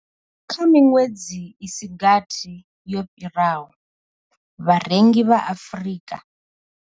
Kha miṅwedzi i si gathi yo fhiraho, vharengi vha Afrika.